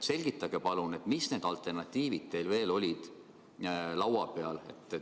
Selgitage palun, mis alternatiivid teil veel laua peal olid!